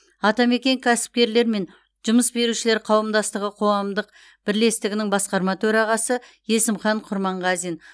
атамекен кәсіпкерлер мен жұмыс берушілер қауымдастығы қоғамдық бірлестігінің басқарма төрағасы есімхан құрманғазин